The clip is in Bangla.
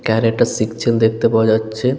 কারাটে শিখছেন দেখতে পাওয়া যাচ্ছে।